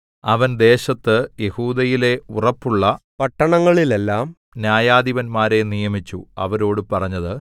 അവൻ ദേശത്ത് യെഹൂദയിലെ ഉറപ്പുള്ള പട്ടണങ്ങളിലെല്ലാം ന്യായാധിപന്മാരെ നിയമിച്ചു അവരോട് പറഞ്ഞത്